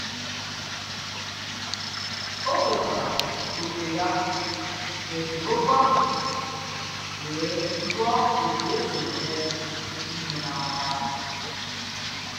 O kwetara òkè ya na esemokwu ahụ wee jụọ otu esi eme ihe n'aka.